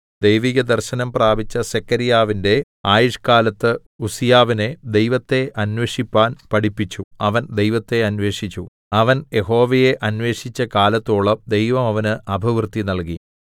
ദൈവിക ദർശനം പ്രാപിച്ച സെഖര്യാവിന്റെ ആയുഷ്കാലത്ത് ഉസ്സിയാവിനെ ദൈവത്തെ അന്വേഷിപ്പാന്‍ പഠിപ്പിച്ചു അവൻ ദൈവത്തെ അന്വേഷിച്ചു അവൻ യഹോവയെ അന്വേഷിച്ച കാലത്തോളം ദൈവം അവന് അഭിവൃദ്ധി നല്കി